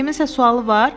Kiminsə sualı var?